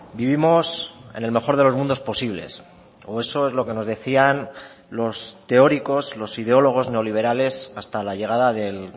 vivimos en el mejor de los mundos posibles o eso es lo que nos decían los teóricos los ideólogos neoliberales hasta la llegada del